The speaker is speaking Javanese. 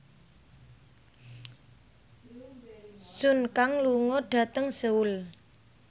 Sun Kang lunga dhateng Seoul